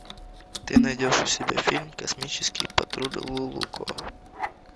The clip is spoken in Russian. ты найдешь у себя фильм космический патруль лулуко